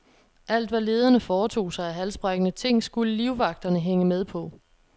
Alt, hvad lederne foretog sig af halsbrækkende ting, skulle livvagterne hænge med på.